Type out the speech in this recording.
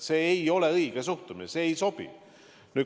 See ei ole õige suhtumine, see ei sobi.